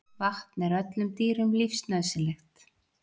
Vatn er öllum dýrum lífsnauðsynlegt.